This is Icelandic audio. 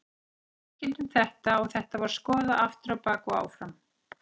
Við tilkynntum þetta og þetta var skoðað aftur á bak og áfram.